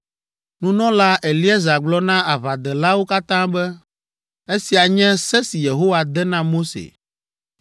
Nunɔla Eleazar gblɔ na aʋadelawo katã be, “Esia nye se si Yehowa de na Mose